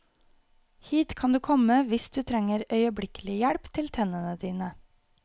Hit kan du komme hvis du trenger øyeblikkelig hjelp til tennene dine.